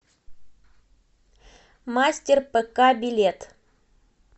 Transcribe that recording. мастер пк билет